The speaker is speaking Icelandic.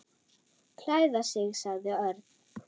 Klæða sig sagði Örn.